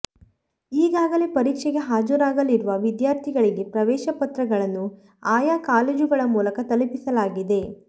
ಈಗಾಗಲೇ ಪರೀಕ್ಷೆಗೆ ಹಾಜರಾಗಲಿರುವ ವಿದ್ಯಾರ್ಥಿಗಳಿಗೆ ಪ್ರವೇಶ ಪತ್ರಗಳನ್ನು ಆಯಾ ಕಾಲೇಜುಗಳ ಮೂಲಕ ತಲುಪಿಸಲಾಗಿದೆ